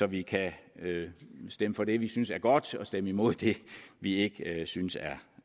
vi kan stemme for det vi synes er godt og stemme imod det vi ikke synes er